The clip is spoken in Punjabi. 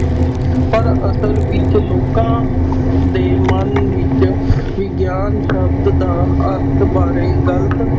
ਪਰ ਅਸਲ ਵਿੱਚ ਲੋਕਾਂ ਦੇ ਮਨ ਵਿੱਚ ਵਿਗਿਆਨ ਸ਼ਬਦ ਦਾ ਅਰਥ ਬਾਰੇ ਗ਼ਲਤ